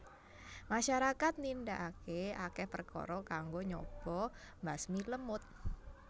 Masyarakat nindakake akeh perkara kanggo nyoba mbasmi lemut